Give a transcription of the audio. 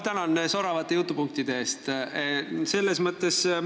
Tänan soravate jutupunktide eest!